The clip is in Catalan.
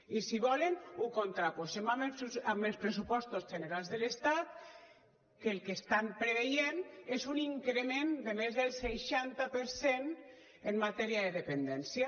i si volen ho contraposem amb els pressupostos generals de l’estat que el que estan preveient és un increment de més del seixanta per cent en matèria de dependència